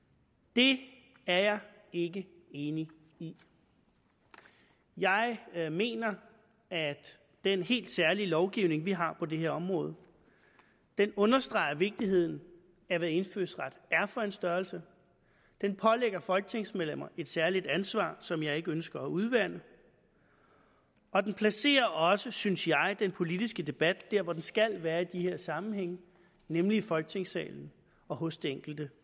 det er jeg ikke enig i jeg jeg mener at den helt særlige lovgivning vi har på det her område understreger vigtigheden af hvad indfødsret er for en størrelse den pålægger folketingsmedlemmer et særligt ansvar som jeg ikke ønsker at udvande og den placerer også synes jeg den politiske debat der hvor den skal være i de her sammenhænge nemlig i folketingssalen og hos det enkelte